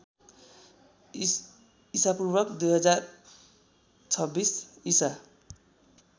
ईपू १०२६ ईसा